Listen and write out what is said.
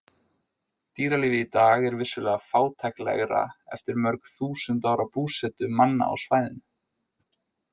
Dýralífið í dag er vissulega fátæklegra eftir mörg þúsund ára búsetu manna á svæðinu.